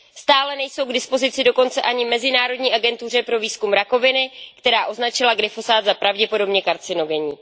Stále nejsou k dispozici dokonce ani Mezinárodní agentuře pro výzkum rakoviny, která označila glyfosát za pravděpodobně karcinogenní.